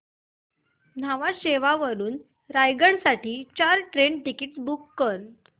न्हावा शेवा वरून रायगड साठी चार ट्रेन टिकीट्स बुक कर